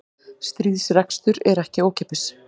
Stríðsrekstur er ekki ókeypis